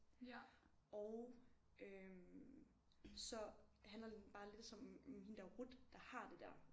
Og øh så handler den bare lidt som om hende der Ruth der har det der